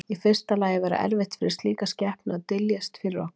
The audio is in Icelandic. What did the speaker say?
Í fyrsta lagi væri erfitt fyrir slíka skepnu að dyljast fyrir okkur.